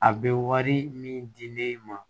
A bɛ wari min di ne ma